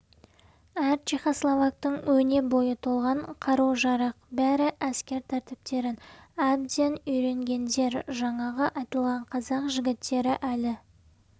әр чехословактың өне бойы толған қару-жарақ бәрі әскер тәртіптерін әбден үйренгендер жаңағы айтылған қазақ жігіттері әлі